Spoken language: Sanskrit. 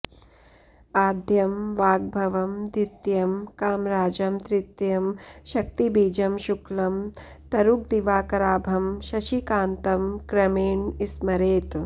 आद्यं वाग्भवं द्वितीयं कामराजं तृतीयं शक्तिबीजं शुक्लं तरुगदिवाकराभं शशिकान्तं क्रमेण स्मरेत्